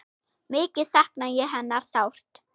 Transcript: Mikið sakna ég hennar sárt.